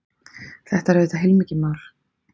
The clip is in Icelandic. Þetta er auðvitað heilmikið mál